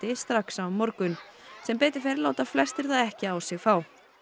strax á morgun sem betur fer láta flestir það ekki á sig fá